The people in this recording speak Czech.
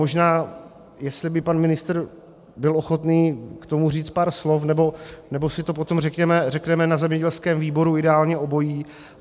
Možná jestli by pan ministr byl ochotný k tomu říci pár slov, nebo si to potom řekneme na zemědělském výboru, ideálně obojí.